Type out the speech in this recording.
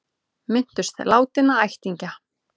Minntust látinna ættingja